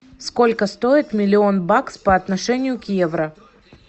сколько стоит миллион бакс по отношению к евро